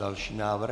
Další návrh.